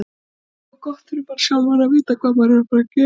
Það er gott fyrir mann sjálfan að vita hvað maður er að fara að gera.